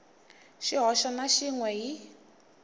xihoxo na xin we hi